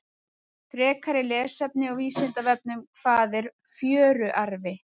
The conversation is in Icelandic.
Frekara lesefni á Vísindavefnum: Hvað er fjöruarfi?